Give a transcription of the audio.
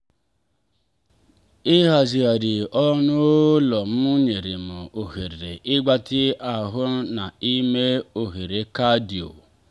ịhazigharị ọnụ ụlọ m nyere m ohere ịgbatị ahụ na ime obere cardio.